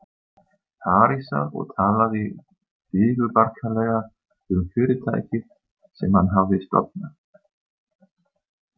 Parísar og talaði digurbarkalega um fyrirtækið sem hann hafði stofnað.